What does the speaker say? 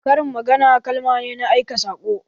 Karin magana kalma ne na aika saƙo